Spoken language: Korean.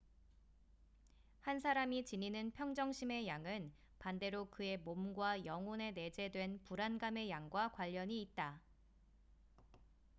한 사람이 지니는 평정심의 양은 반대로 그의 몸과 영혼에 내재된 불안감의 양과 관련이 있다